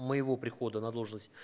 моего прихода на должность